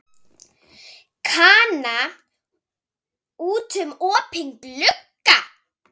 Kana út um opinn glugga.